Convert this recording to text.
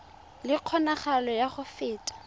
le kgonagalo ya go feta